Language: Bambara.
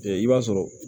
i b'a sɔrɔ